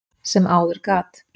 sem áður gat.